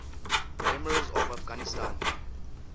emirs of afghanistan